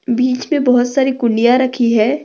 बिच मे बहुत सारा कुंडिया रखी है।